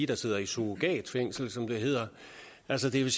der sidder i surrogatfængsel som det hedder altså det vil